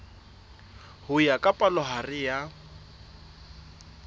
ho ya ka palohare ya